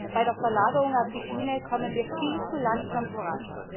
Bei der Verlagerung auf die Schiene kommen wir viel zu langsam voran.